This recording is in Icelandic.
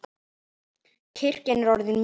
Kirkjan er orðin mjög gömul.